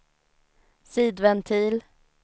sidventil